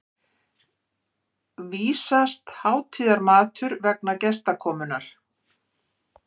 vísast hátíðarmatur vegna gestakomunnar.